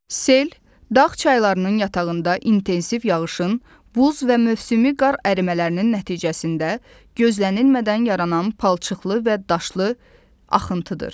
Sel dağ çaylarının yatağında intensiv yağışın, buz və mövsümi qar ərimələrinin nəticəsində gözlənilmədən yaranan palçıqlı və daşlı axıntıdır.